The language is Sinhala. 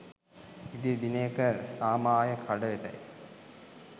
ඉදිරි දිනයක සාමාය කඩවෙතැයි